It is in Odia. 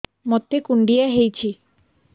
ମୋତେ କୁଣ୍ଡିଆ ହେଇଚି